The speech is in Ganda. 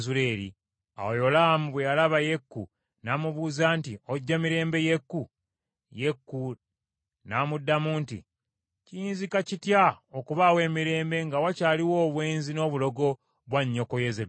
Awo Yolaamu bwe yalaba Yeeku, n’amubuuza nti, “Ojja mirembe Yeeku?” Yeeku n’amuddamu nti, “Kiyinzika kitya okubaawo emirembe, nga wakyaliwo obwenzi n’obulogo bwa nnyoko Yezeberi?”